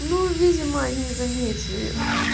ну видимо не заметили